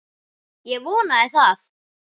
Ég vonaði það.